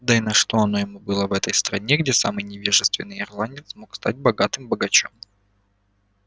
да и на что оно ему было в этой новой стране где самый невежественный ирландец мог стать богатым богачом